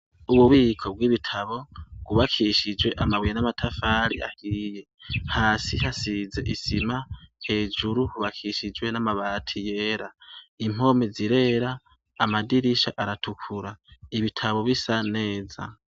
Ububiko bw'ibitabo gubakishijwe amabuye n'amatafari ahiye hasi hasize isima hejuru hubakishijwe n'amabati yera impomi zirera amadirisha aratukura ibitabo bisa neza.